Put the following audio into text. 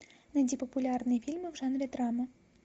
найди популярные фильмы в жанре драма